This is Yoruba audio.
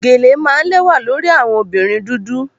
Geles are usually very beautiful on black women